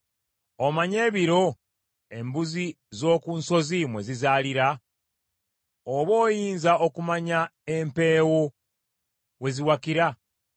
“Omanyi ebiro embuzi z’oku nsozi mwe zizaalira? Oba oyinza okumanya empeewo we ziwakira?